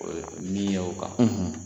O ye min y'aw kan